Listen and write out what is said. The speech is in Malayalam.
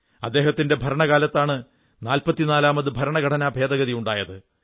അദ്ദേഹത്തിന്റെ ഭരണകാലത്താണ് 44 ാമത് ഭരണഘടനാ ഭേദഗതി ഉണ്ടായത്